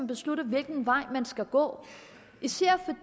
beslutte hvilken vej man skal gå især